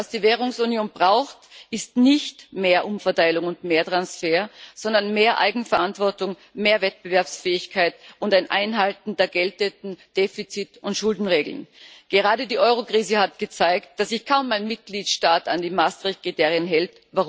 Was die Währungsunion braucht, ist nicht mehr Umverteilung und mehr Transfer, sondern mehr Eigenverantwortung, mehr Wettbewerbsfähigkeit und ein Einhalten der geltenden Defizit und Schuldenregeln. Gerade die Eurokrise hat gezeigt, dass sich kaum ein Mitgliedstaat an die Maastricht Kriterien hält.